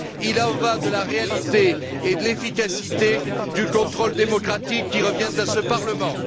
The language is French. Il y va de la réalité et de l'efficacité du contrôle démocratique qui revient à ce Parlement.